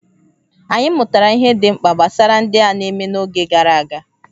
Anyị mụtara ihe ndị dị mkpa gbasara ndị a na-eme n'oge gara aga.